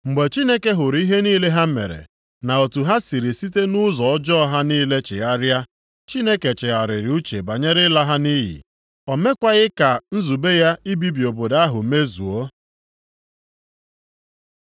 Mgbe Chineke hụrụ ihe niile ha mere, na otu ha siri site nʼụzọ ọjọọ ha niile chegharịa, Chineke chegharịrị uche banyere ịla ha nʼiyi. O mekwaghị ka nzube ya ibibi obodo ahụ mezuo.